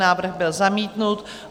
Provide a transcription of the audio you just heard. Návrh byl zamítnut.